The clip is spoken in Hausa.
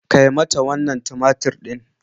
Kai mata wannan tumatir din.